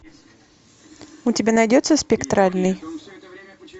у тебя найдется спектральный